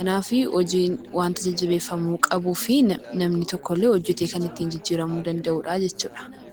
kanaaf hojiin wanta jajjabeeffamuu qabuu fi namni tokko illee hojjetee kan ittiin jijjiiramu danda'uudhaa jechuudha.